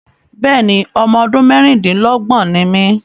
Bẹ́ẹ̀ni, ọmọ ọdún mẹ́ẹ́rin-din-lọ́gbọ́n ni mí